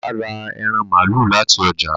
Bàbá rà ẹran malu láti ọjà